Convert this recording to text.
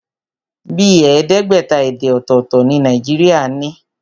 Bíi ẹẹdẹgbẹta èdè ọ̀tọ̀tọ̀ ni Nàìjíríà ní.